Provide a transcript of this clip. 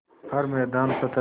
हर मैदान फ़तेह